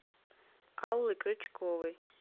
аллы крючковой